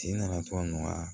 Sen nana to a nɔgɔya